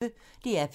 DR P1